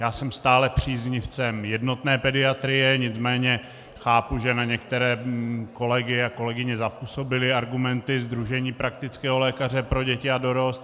Já jsem stále příznivcem jednotné pediatrie, nicméně chápu, že na některé kolegy a kolegyně zapůsobily argumenty sdružení praktického lékaře pro děti a dorost.